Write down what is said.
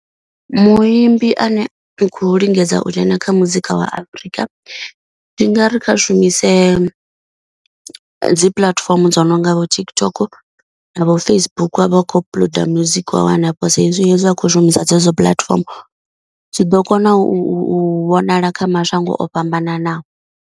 Muimbi ane u khou lingedza u dzhena kha muzika wa Afrika. Ndi nga ri kha shumise dzi puḽatifomo dzo no nga vho TikTok navho Facebook wavha u kho upload music wa wa hanefho. Wa hezwi hezwi a khou shumisa dzedzo puḽatifomo zwi ḓo kona u vhonala kha mashango o fhambananaho.